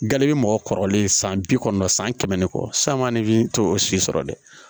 Gale bi mɔgɔ kɔrɔlen san bi kɔnɔntɔn san san kɛmɛ ni kɔ san ma ne tɛ o si sɔrɔ dɛ